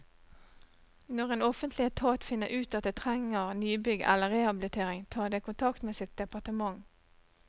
Når en offentlig etat finner ut at det trenger nybygg eller rehabilitering, tar det kontakt med sitt departement.